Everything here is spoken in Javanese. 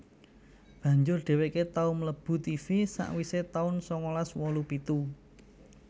Banjur dheweke tau mlebu Tivi sakwise taun sangalas wolu pitu